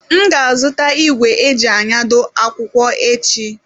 M ga-azụta igwe eji anyado akwụkwọ echi.